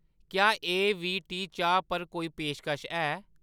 क्या एवीटी चाह् पर कोई पेशकश है ?